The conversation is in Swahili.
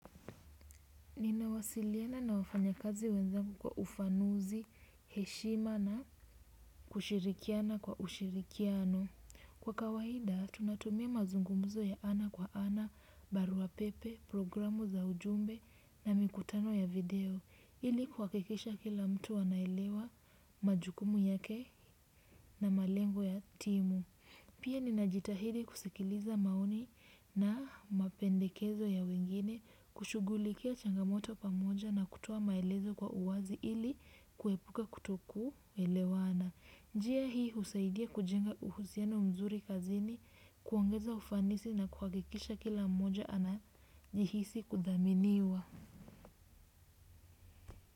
Ninawasiliana na wafanya kazi wenzengu kwa ufanuzi, heshima na kushirikiana kwa ushirikiano. Kwa kawaida, tunatumia mazungumzo ya ana kwa ana, barua pepe, programu za ujumbe na mikutano ya video. Ili kuhakikisha kila mtu anaelewa majukumu yake na malengo ya timu. Pia, ninajitahidi kusikiliza maoni na mapendekezo ya wengine, kushughulikia changamoto pamoja na kutoa maelezo kwa uwazi ili kuepuka kutokuelewana. Njia hii husaidia kujenga uhusiano mzuri kazini, kuongeza ufanisi na kuhagikisha kila mmoja anajihisi kuthaminiwa.